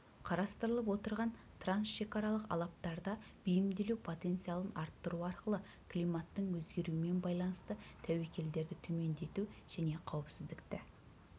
қарастырылып отырған трансшекаралық алаптарда бейімделу потенциалын арттыру арқылы климаттың өзгеруімен байланысты тәуекелдерді төмендету және қауіпсіздікті